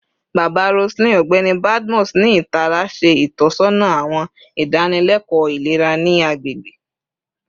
Baba Roseline, Ọgbẹni Badmus, ni itara ṣe itọsọna awọn idanileko ilera ni agbegbe